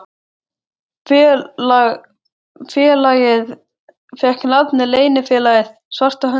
Félagið fékk nafnið Leynifélagið svarta höndin.